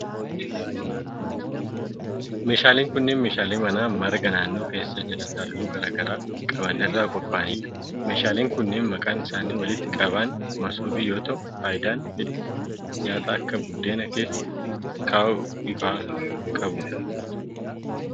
Meeshaaleen kunneen meeshaalee manaa marga naannoo keessa jiran halluu garaa garaa qaban irraa qopha'anii dha. Meeshaaleen kunneen maqaan isaanii walitti qabaan masoobii yoo ta'u, faayidaa hedduu nyaata akka buddeenaa keessa kaa'uu faa qabu.